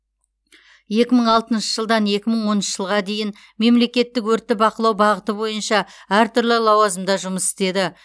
екі мың алтыншы жылдан екі мың оныншы жылға дейін мемлекеттік өртті бақылау бағыты бойынша әртүрлі лауазымда жұмыс істеді